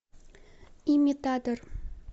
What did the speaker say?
имитатор